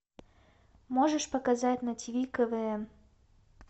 можешь показать на тв квн